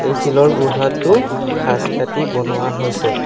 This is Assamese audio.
এই শিলৰ গুৰহাটো সাঁজ কাটি বনোৱা হৈছে।